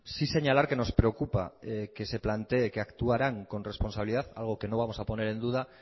sí señalar que nos preocupa que se plantee que actuarán con responsabilidad algo que no vamos a poner en duda